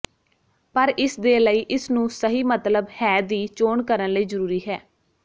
ਪਰ ਇਸ ਦੇ ਲਈ ਇਸ ਨੂੰ ਸਹੀ ਮਤਲਬ ਹੈ ਦੀ ਚੋਣ ਕਰਨ ਲਈ ਜ਼ਰੂਰੀ ਹੈ